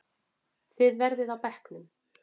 Þið verðið á bekknum!